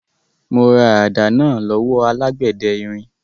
Mo ra àdá náà lọ́wọ́ alágbẹ̀dẹ irin.